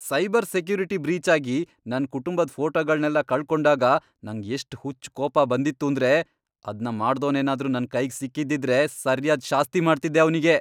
Cyber security breach ಆಗಿ ನನ್ ಕುಟುಂಬದ್ ಫೋಟೋಗಳ್ನೆಲ್ಲ ಕಳ್ಕೊಂಡಾಗ ನಂಗ್ ಎಷ್ಟ್ ಹುಚ್ಚ್ ಕೋಪ ಬಂದಿತ್ತೂಂದ್ರೆ ಅದ್ನ ಮಾಡ್ದೋನೇನಾದ್ರೂ ನನ್ ಕೈಗ್ ಸಿಕ್ಕಿದ್ದಿದ್ರೆ ಸರ್ಯಾದ್ ಶಾಸ್ತಿ ಮಾಡ್ತಿದ್ದೆ ಅವ್ನಿಗೆ.